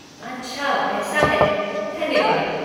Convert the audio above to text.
अच्छा ऐसा है, धन्यवाद।